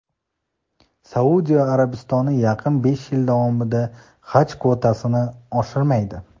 Saudiya Arabistoni yaqin besh yil davomida Haj kvotasini oshirmaydi.